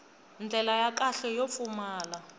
ndlela ya kahle yo pfumala